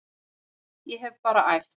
Ég hef bara æft.